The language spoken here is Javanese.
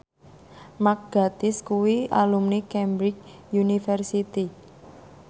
Mark Gatiss kuwi alumni Cambridge University